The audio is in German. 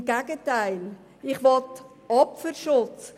Im Gegenteil: Ich will Opferschutz.